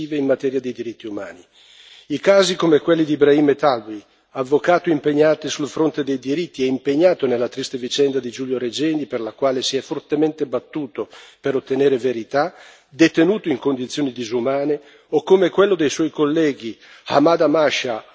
I casi come quelli di Ibrahim Metwaly, avvocato impegnato sul fronte dei diritti e impegnato nella triste vicenda di Giulio Regeni, per la quale si è fortemente battuto per ottenere verità, detenuto in condizioni disumane o come quello dei suoi colleghi Ahmad Amasha Hanan e Badr el Din.